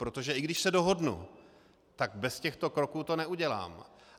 Protože i když se dohodnu, tak bez těchto kroků to neudělám.